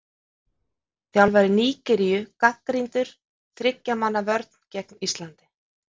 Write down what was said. Þjálfari Nígeríu gagnrýndur- Þriggja manna vörn gegn Íslandi?